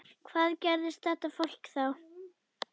Hvað gerði þetta fólk þá?